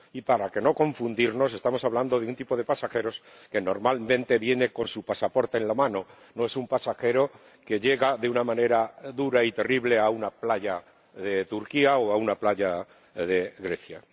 Y para no confundirnos, estamos hablando de un tipo de pasajeros que normalmente viene con su pasaporte en la mano, no es un pasajero que llega de una manera dura y terrible a una playa de Turquía o a una playa de Grecia.